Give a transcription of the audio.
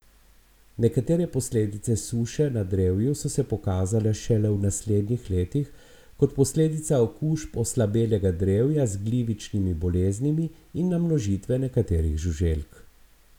Nekatere posledice suše na drevju so se pokazale šele v naslednjih letih kot posledica okužb oslabelega drevja z glivičnimi boleznimi in namnožitve nekaterih žuželk.